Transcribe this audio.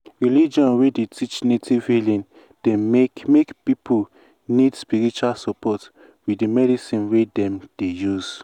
religion wey dey teach native healing dey make make people need spiritual support with the medicine wey dem dey use.